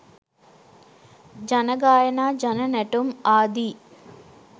ජන ගායනා ජන නැටුම් ආදී